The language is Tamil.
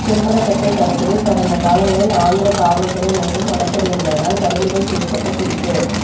செம்மரக்கட்டை கடத்தலில் கடந்த காலங்களில் ஆந்திர காவல்துறை மற்றும் வனத்துறையினரால் பறிமுதல் செய்யப்பட்ட குறிப்பு